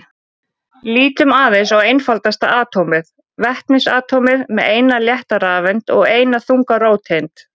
Lítum aðeins á einfaldasta atómið, vetnisatómið með eina létta rafeind og eina þunga róteind.